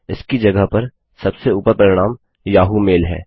इसकी जगह पर सबसे उपर परिणाम याहू मेल है